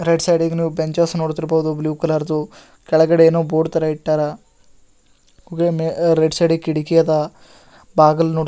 Right side ನೀವು benches ನೋಡ್ತಿರಬಹದು blue colour ದು ಕೆಳಗಡೆ ಬೋರ್ಡ್ ತರ ಇಟ್ಟರ ರೈಟ್ ಸೈಡ್ ಕಿಟಕಿ ಅದ.